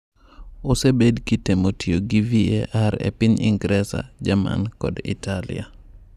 Osebed kitemo tiyo gi VAR e piny Ingresa, Jerman, kod Italia.